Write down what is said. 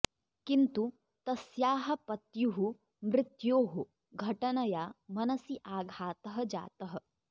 किन्तु तस्याः पत्युः मृत्योः घटनया मनसि आघातः जातः